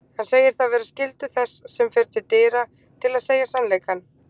Hann segir það vera skyldu þess sem fer til dyra til að segja sannleikann.